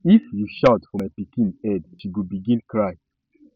if you shout for my pikin head she go begin cry